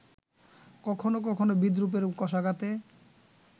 কখনো কখনো বিদ্রূপের কশাঘাতে